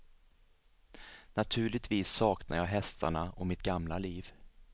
Naturligtvis saknar jag hästarna och mitt gamla liv.